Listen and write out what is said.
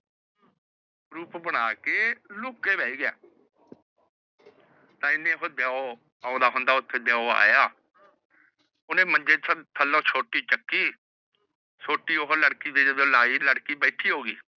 ਰੂਪ ਬਣਾ ਕੇ ਲੁਕ ਕੇ ਬਹਿ ਗਿਆ। ਏਨੇ ਨੂੰ ਦਿਓ ਆਉਂਦਾ ਹੁੰਦਾ ਉੱਥੇ ਦਿਓ ਆਇਆ। ਓਹਨੇ ਮੰਜੇ ਥੱਲੋ ਸੋਟੀ ਚੱਕੀ। ਸੋਟੀ ਜਦੋ ਓਹਨੇ ਲੜਕੀ ਦੇ ਲਾਇ ਲੜਕੀ ਬੈਠੀ ਹੋ ਗਈ।